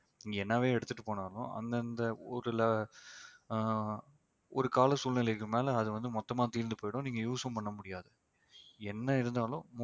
நீங்க என்னவே எடுத்துட்டு போனாலும் அந்தந்த ஊர்ல ஆஹ் ஒரு கால சூழ்நிலைக்கு மேல அது வந்து மொத்தமா தீர்ந்து போயிடும் நீங்க use ம் பண்ண முடியாது என்ன இருந்தாலும்